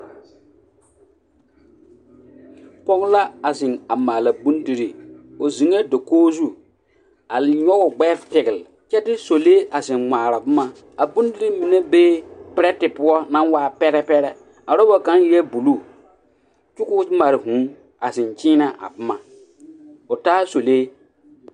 Pɔge la a zeŋ maala bondirii, o zeŋɛɛ dakogi zu a nyɔge o gbɛɛ pegele kyɛ de sɔlee a zeŋ ŋmaara boma, a bondirii mine bee perɛtɛ poɔ naŋ waa pɛrɛpɛrɛ, a roba kaŋ eɛɛ buluu kyɛ k'o mare vūū a zeŋ kyeenɛ a boma o taa sɔlee.